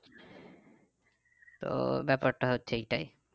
তো ব্যাপারটা হচ্ছে এইটাই